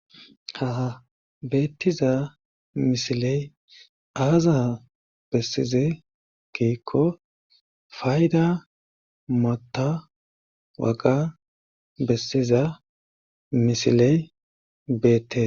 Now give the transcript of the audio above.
ha beettiza misiley aaza bessize kiikko fayda mota waqa bessiza misiley beette